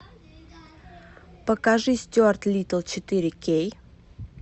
покажи стюарт литтл четыре кей